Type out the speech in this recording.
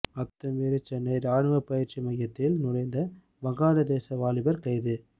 அத்துமீறி சென்னை ராணுவ பயிற்சி மையத்தில் நுழைந்த வங்காளதேச வாலிபர் கைது